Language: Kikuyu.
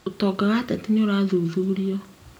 Ũtonga wa ateti nĩũrathuthurio